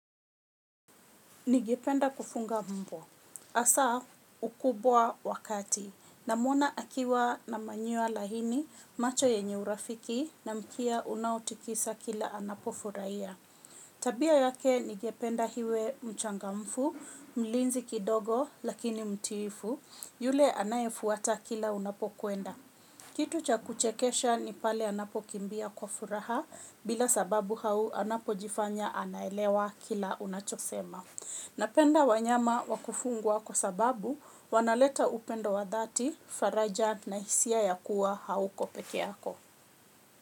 Ningependa kufunga mbwa. Asa ukubwa wa kati. Namwona akiwa na manyoa laini macho yenye urafiki na mkia unaotikisa kila anapofuraia. Tabia yake ningependa hiwe mchangamfu, mlinzi kidogo lakini mtiifu. Yule anayefuata kila unapokuenda. Kitu cha kuchekesha ni pale anapokimbia kwa furaha bila sababu hau anapojifanya anaelewa kila unachosema. Napenda wanyama wakufungwa wako sababu wanaleta upendo wa dhati, faraja na hisia ya kuwa hauko peke yako.